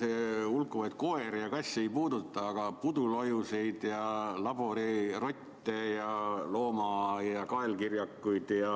See hulkuvaid koeri ja kasse ei puuduta, aga pudulojuseid ja laborirotte ja loomaaia kaelkirjakuid ja